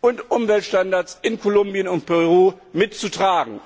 und Umweltstandards in Kolumbien und Peru mitzutragen.